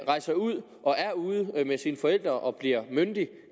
rejser ud og er ude med sine forældre og bliver myndig